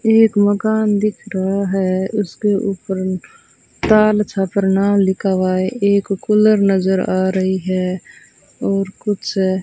एक मकान दिख रहा है उसके ऊपर ताल छपरना लिखा हुआ है एक कुलर नजर आ रही है और कुछ --